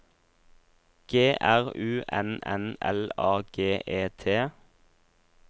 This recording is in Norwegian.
G R U N N L A G E T